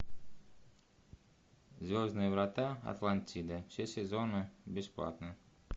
звездные врата атлантида все сезоны бесплатно